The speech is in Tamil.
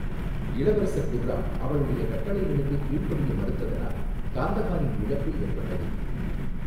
இளவரசர் குர்ராம் அவளுடைய கட்டளைகளுக்குக் கீழ்ப்படிய மறுத்தனால் காந்தஹாரின் இழப்பு ஏற்பட்டது.